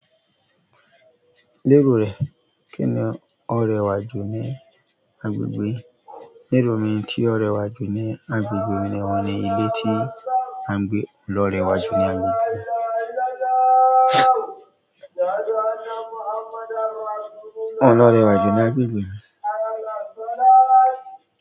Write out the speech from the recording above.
Lérò rẹ, kí ni ó rẹwà jù ní agbègbè? Lérò mi tí ó rẹwà jù ní agbègbè mi ni ẹran ní ilé tí à ń gbé ló rẹwà jù ní agbègbè mi. Óun ló rẹwà jù ní agbègbè.